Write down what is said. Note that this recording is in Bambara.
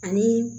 Ani